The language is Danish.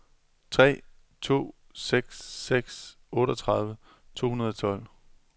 tre to seks seks otteogtredive to hundrede og tolv